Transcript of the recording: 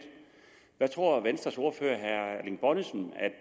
hvad tror venstres ordfører herre erling bonnesen